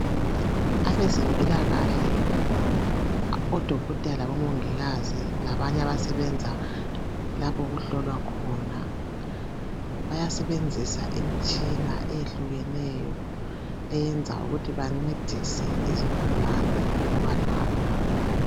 Abezempilakahle odokotela labomongikazi labanye abasebenza lapho okuhlolwa khona bayasebenzisa imitshina eyehlukeneyo eyenza ukuthi bancedise izigulani ukuba lapha.